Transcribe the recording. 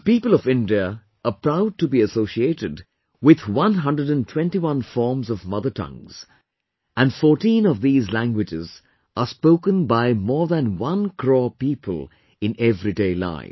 The people of India are proud to be associated with 121 forms of mother tongues and 14 of these languages are spoken by more than 1 crore people in everyday life